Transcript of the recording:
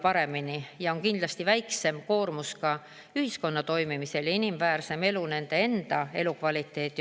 Ja selle on kindlasti väiksem koormus ühiskonna toimimisele ja neile endale inimväärsem elu, elukvaliteet.